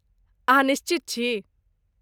अहाँ निश्चित छी?